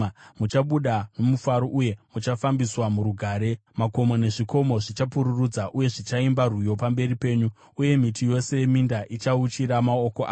Muchabuda nomufaro, uye muchafambiswa murugare; makomo nezvikomo zvichapururudza uye zvichaimba rwiyo pamberi penyu, uye miti yose yeminda ichauchira maoko ayo.